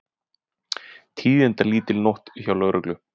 Tíðindalítil nótt hjá lögreglu